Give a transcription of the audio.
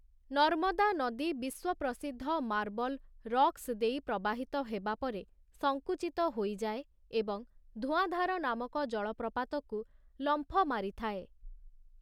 ନର୍ମଦା ନଦୀ ବିଶ୍ୱପ୍ରସିଦ୍ଧ marble rocks ଦେଇ ପ୍ରବାହିତ ହେବାପରେ ସଙ୍କୁଚିତ ହୋଇଯାଏ, ଏବଂ ଧୂଆଁଧାର ନାମକ ଜଳପ୍ରପାତକୁ ଲମ୍ଫ ମାରିଥାଏ ।